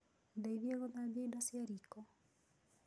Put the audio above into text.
Ndeithĩa gũthambia indo cia riiko